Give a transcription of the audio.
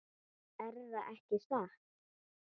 Erða ekki satt?